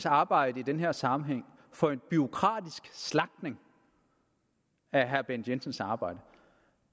arbejde i den her sammenhæng for en bureaukratisk slagtning af herre bent jensens arbejde